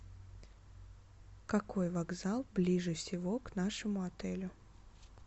какой вокзал ближе всего к нашему отелю